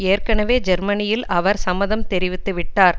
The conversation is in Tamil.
ஏற்கெனவே ஜெர்மனியில் அவர் சம்மதம் தெரிவித்துவிட்டார்